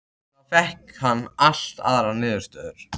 Þá fékk hann allt aðrar niðurstöður.